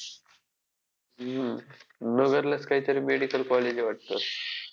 हम्म नगरलाच काहीतरी medical college आहे वाटतं.